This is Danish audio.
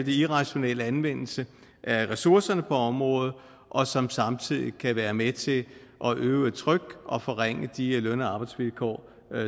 irrationel anvendelse af ressourcerne på området og som samtidig kan være med til at øve et tryk og forringe de løn og arbejdsvilkår